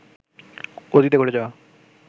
অতীতে ঘটে যাওয়া